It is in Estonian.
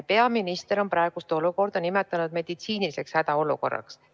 Peaminister on praegust olukorda nimetanud meditsiiniliseks hädaolukorraks.